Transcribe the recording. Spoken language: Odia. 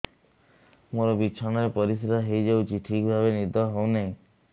ମୋର ବିଛଣାରେ ପରିସ୍ରା ହେଇଯାଉଛି ଠିକ ଭାବେ ନିଦ ହଉ ନାହିଁ